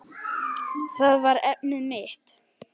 Það var efnið mitt.